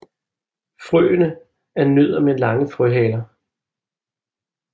Frøene er nødder med lange frøhaler